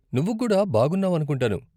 నువ్వు కూడా బాగున్నావనుకుంటాను.